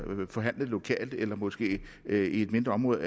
forhandlet lokalt eller måske i et mindre område